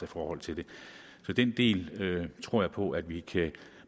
forhold til det så den del tror jeg på at vi